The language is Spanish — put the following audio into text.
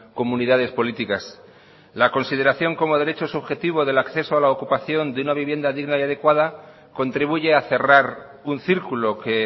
comunidades políticas la consideración como derecho subjetivo del acceso a la ocupación de una vivienda digna y adecuada contribuye a cerrar un círculo que